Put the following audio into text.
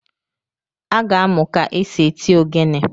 Aga amụ ka-esi eti ogene